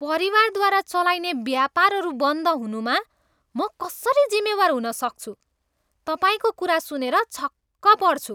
परिवारद्वारा चलाइने व्यापारहरू बन्द हुनुमा म कसरी जिम्मेवार हुन सक्छु? तपाईँको कुरा सुनेर छक्क पर्छु।